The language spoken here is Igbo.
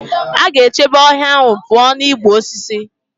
A ga-echebe ọhịa ahụ pụọ na igbu osisi.